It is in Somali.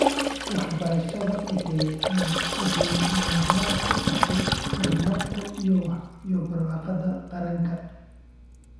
Waxbarashada waxay lama huraan u tahay horumarka iyo barwaaqada qaranka.